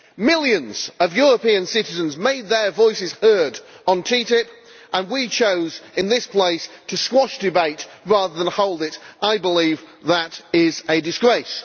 Millions of European citizens made their voices heard on TTIP and we chose in this place to squash debate rather than hold it. I believe that is a disgrace.